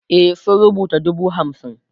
e sun rubuta dubu hamsin